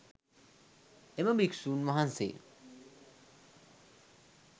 එම භික්‍ෂූන් වහන්සේ